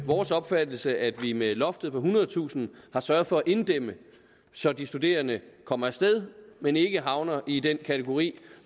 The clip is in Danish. vores opfattelse at vi med loftet på ethundredetusind har sørget for at inddæmme så de studerende kommer af sted men ikke havner i den kategori